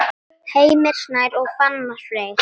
Heimir Snær og Fannar Freyr.